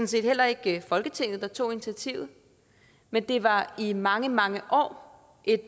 set heller ikke folketinget der tog initiativet men det var i mange mange år et